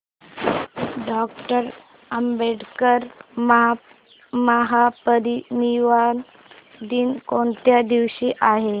doctor Ambedkar महापरिनिर्वाण दिन कोणत्या दिवशी आहे